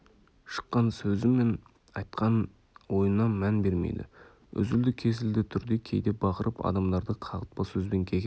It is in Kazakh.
шыққан сөзі мен айтқан ойына мән бермейді үзілді-кесілді түрде кейде бақырып адамдарды қағытпа сөзбен кекеп